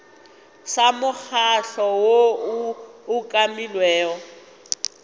sa mokgatlo woo o umakilwego